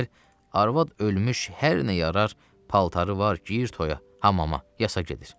Digər, arvad ölmüş hər nə yarar paltarı var, geyir toyaya, hamama, yasa gedir.